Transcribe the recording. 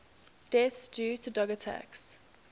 deaths due to dog attacks